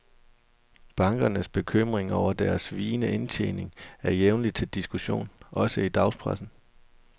Bankernes bekymring over deres vigende indtjening er jævnlig til diskussion, også i dagspressen.